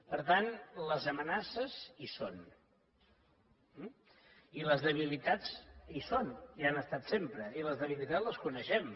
per tant les amenaces hi són eh i les debilitats hi són hi han estat sempre i les debilitats les coneixem